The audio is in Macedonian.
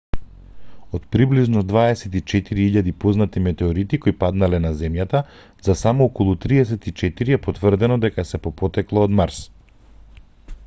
од приближно 24.000 познати метеорити кои паднале на земјата за само околу 34 е потврдено дека се по потекло од марс